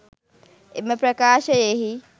එම ප්‍රකාශයෙහි